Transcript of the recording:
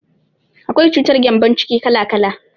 Akwai cutar gembon ciki ƙala ƙala.